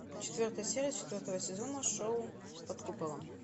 четвертая серия четвертого сезона шоу под куполом